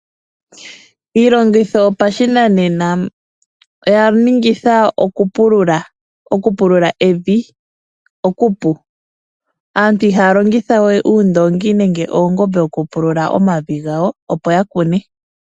Iilongitho yopashinanena oya ningitha okupulula evi okupu. Aantu ihaya longitha we oondoongi nenge oongombe oku pulula omavi gawo opo ya kune.